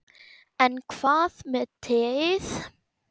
En hvað með teið?